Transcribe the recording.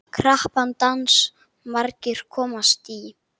Krappan dans margir komast í.